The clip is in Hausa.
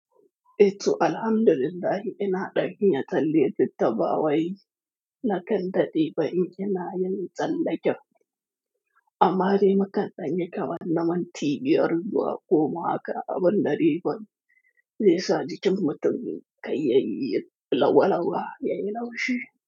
E ro alhamdulillahi ina ɗanin ya talle littattafawai na kan daɗe ba in kina yin tsallake. Amma dai makan ɗanye kawan nama na minti biyar zuwa goma aka abun na riban zai sadi cimmutun kai yayi lawalawa yayi laushi.